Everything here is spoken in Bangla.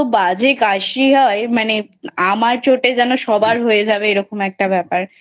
এতো বাজে কাশি হয় মানে আমার চোটে যেন সবার হয়ে যাবে এরকম একটা ব্যাপার